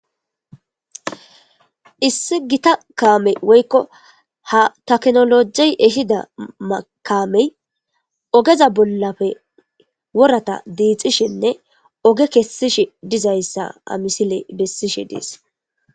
Issi gitta kammey woyikko ha technology ehida kammey ogeza bolafe woratta dixishshenne oge kesishshe dizayissa ha missiley besishshe des